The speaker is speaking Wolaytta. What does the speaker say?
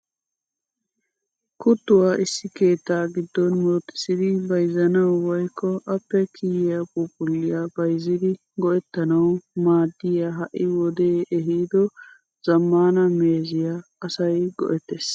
Kuttuwaa issi keettaa giddon muruttisidi bayzzanawu woykko appe kiyiyaa phuuphulliyaa bayzzidi go"ettanawu maaddiyaa ha'i wodee ehiido zammaana meeziyaa asay go"ettees.